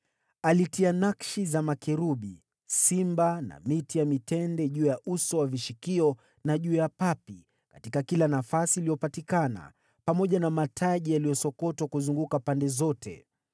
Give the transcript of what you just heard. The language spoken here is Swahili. Alitia nakshi za makerubi, simba na miti ya mitende juu ya uso wa vishikio na juu ya papi, katika kila nafasi iliyopatikana, pamoja na mataji yaliyosokotwa kuzunguka pande zote.